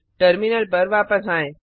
terminal पर वापस आएँ